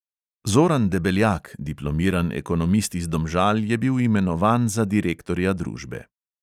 Zoran debeljak, diplomiran ekonomist iz domžal, je bil imenovan za direktorja družbe.